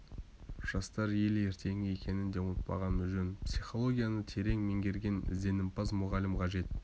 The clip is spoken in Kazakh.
жастар ел ертеңі екенін де ұмытпағанымыз жөн психологияны терең меңгерген ізденімпаз мұғалім қажет